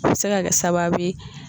A bɛ se ka kɛ sababu ye